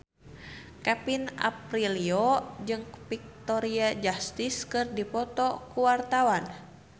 Kevin Aprilio jeung Victoria Justice keur dipoto ku wartawan